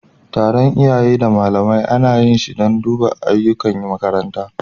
Taron iyaye da malamai ana yi shi dan a duba ayyukan makaranta.